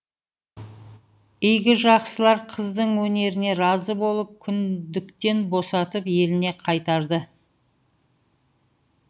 игі жақсылар қыздың өнеріне разы болып күңдіктен босатып еліне қайтарды